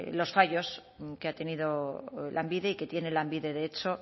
los fallos que ha tenido lanbide y que tiene lanbide de hecho